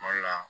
Kuma dɔ la